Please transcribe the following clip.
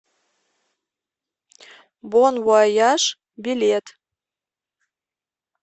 бон вояж билет